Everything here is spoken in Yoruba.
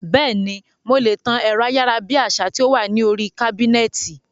Bẹ́ẹ̀ni, mo lè tan ẹ̀rọ ayárabíàṣá tí ó wà ní oríi kábínẹ̀tì